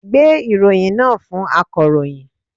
Gbe ìròyìn náà fún akàròyìn!